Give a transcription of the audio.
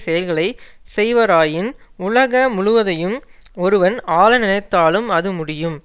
செயல்களை செய்வராயின் உலக முழுவதையும் ஒருவன் ஆள நினைத்தாலும் அது முடியும்